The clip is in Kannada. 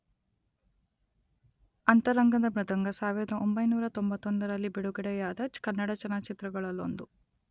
ಅಂತರಂಗದ ಮೃದಂಗ, ಸಾವಿರದೊಂಬೈನೂರ ತೊಂಬತ್ತೊಂದರಲ್ಲಿ ಬಿಡುಗಡೆಯಾದ ಕನ್ನಡ ಚಲನಚಿತ್ರಗಳಲ್ಲೊಂದು.